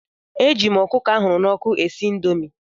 Eji m ọkụkọ ahụrụ n'ọkụ esi indomi.